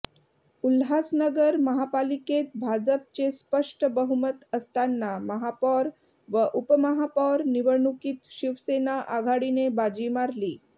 उल्हासनगर महापालिकेत भाजपचे स्पष्ट बहुमत असताना महापौर व उपमहापौर निवडणुकीत शिवसेना आघाडीने बाजी मारली